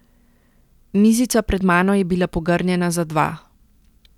Mizica pred mano je bila pogrnjena za dva.